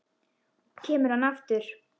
Og kemur hann aftur?